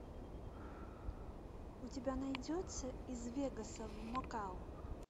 у тебя найдется из вегаса в макао